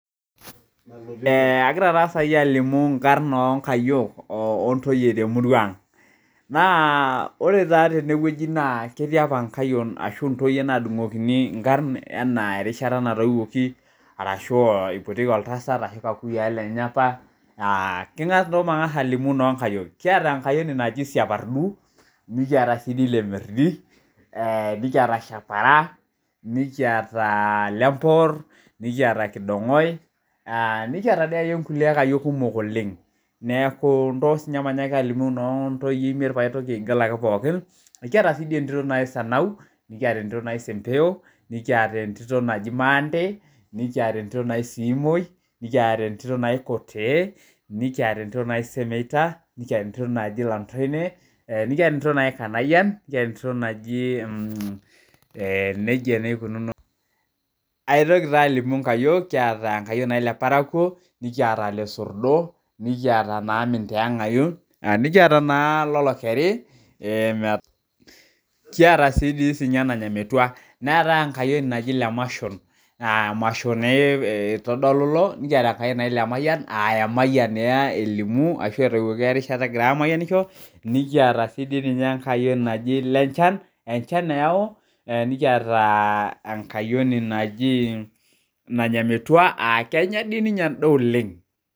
Agira taa sai alimu inkarn onkayiok ontoyie temurua ang. Naa ore taa tenewueji naa ketii apa nkayiok ashu ntoyie nadung'okini inkarn enaa erishata natoiwuoki, arashu ipotieki oltasat ashu kakuyiaa lenye apa, nto matang'asa alimu nonkayiok. Kiata enkayioni naji siapardu, nikiata si di lemerdi, nikiata shapara, nikiata lepoor, nikiata kidong'oe, nikiata di akeyie nkulie ayiok kumok oleng. Neeku nto sinye manyaki alimu no ntoyie imiet paitoki. aigil ake pookin. Kiata si di entito naji sanau, nikata entito naji sempeyo, nikiata entito naji naante, nikiata entito naji siimoi, nikiata entito naji kotee, nikiata entito naji semeita, nikiata entito naji lantoine, nikiata entito naji kanayian, nikiata entito naji eh nejia neikununo. Aitoki taa alimu nkayiok. Kiata enkayioni naji leparakuo, nikiata lesordo, nikiata naa minteeng'ayu, nikiata naa lolokeri, kiata di si ninye nanya metua. Neeta enkayioni naji lemashon. Masho naa itodolu ilo, nikiata enkayioni naji lemayian ah emayian elimu ashu etoiwuoki erishata egirai amayianisho, nikiata si di ninye enkayioni naji lenchan, enchan eyau. Nikiata enkayioni naji nanya metua, kenya di ninye endaa oleng.